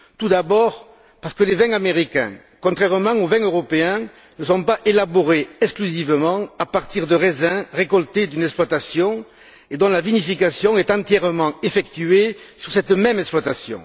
Tout d'abord, parce que les vins américains, contrairement aux vins européens, ne sont pas élaborés exclusivement à partir de raisins récoltés d'une exploitation et dont la vinification est entièrement effectuée sur cette même exploitation.